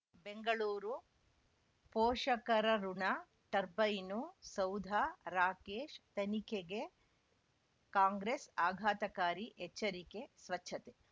ಬೆಂಗಳೂರು ಪೋಷಕರಋಣ ಟರ್ಬೈನು ಸೌಧ ರಾಕೇಶ್ ತನಿಖೆಗೆ ಕಾಂಗ್ರೆಸ್ ಆಘಾತಕಾರಿ ಎಚ್ಚರಿಕೆ ಸ್ವಚ್ಛತೆ